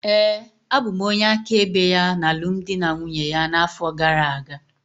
Ee, abụ m onye áká ebe ya na alụmdi na nwunye ya na-afọ gara-aga.